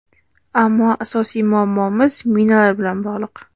Ammo asosiy muammoimiz minalar bilan bog‘liq.